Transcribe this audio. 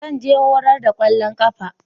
Zan je horar da kwallon kafa.